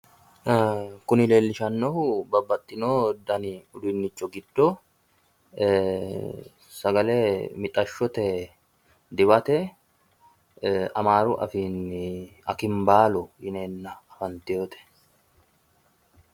Kuni leellishanohu babbaxino dani udunichi giddo mixashsho diphate horonsi'neemmote.